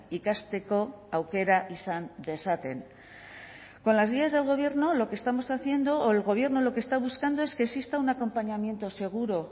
ikasteko aukera izan dezaten con las guías del gobierno lo que estamos haciendo o el gobierno lo que está buscando es que exista un acompañamiento seguro